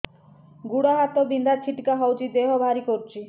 ଗୁଡ଼ ହାତ ବିନ୍ଧା ଛିଟିକା ହଉଚି ଦେହ ଭାରି କରୁଚି